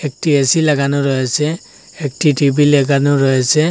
একটি এ_সি লাগানো রয়েছে একটি টি_ভি লেগানো রয়েছে।